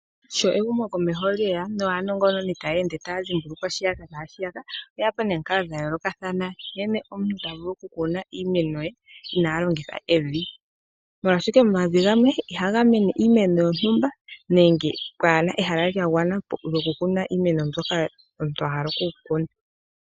Sho ehumokomeho lyeya naanongononi taya ende taya dhimbulukwa shiya naa shiya ,oye ya po nomikalo dha yoolokathana nkene omuntu tavulu okukuna iimeno ye inalongitha evi. Molwaashoka omavi gamwe ihaga mene iimeno yontumba nenge ka ye na ehala lyagwana lyokukuna iimeno mbyoka omuntu ahala okukuna.